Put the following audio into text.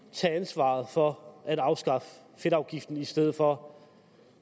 tage ansvaret for at afskaffe fedtafgiften i stedet for